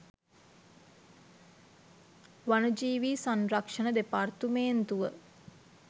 වනජීවී සංරක්ෂණ දෙපාර්තමේන්තුව